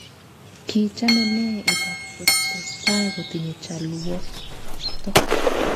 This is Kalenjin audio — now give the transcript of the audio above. Kii chamene ibak kotestai kotinye chalwokto